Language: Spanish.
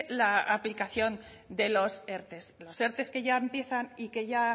la aplicación de los erte los erte que ya empiezan y que ya